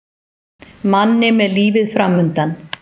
Manni með lífið framundan.